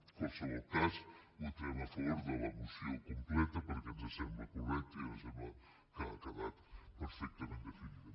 en qualsevol cas votarem a favor de la moció completa perquè ens sembla correcta i ens sembla que ha quedat perfectament definida